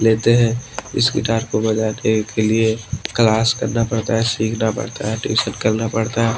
लेते हैं इस गिटार को बजाने के लिए क्लास करना पड़ता है सीखना पड़ता है ट्यूशन करना पड़ता है।